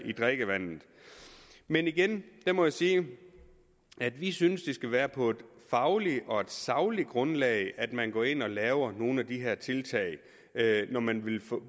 i drikkevandet men igen må jeg sige at vi synes det skal være på et fagligt og sagligt grundlag at man går ind og laver nogle af de her tiltag når man vil